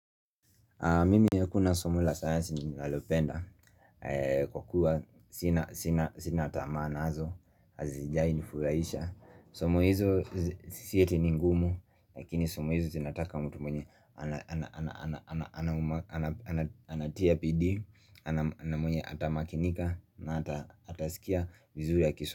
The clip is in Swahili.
Mimi ha kuna somo la science ni lalopenda kwa kuwa sinatamaa nazo, hazijai nifurahisha Somo hizo sieti ningumu lakini somo hizo zinataka mtu mwenye anatia bidii, namwenye atamakinika na atasikia vizuri akisho.